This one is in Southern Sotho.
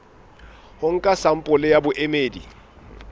ho nka sampole ya boemedi